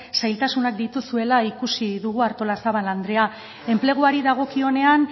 zailtasunak dituzuela ikusi dugu artolazabal andrea enpleguari dagokionean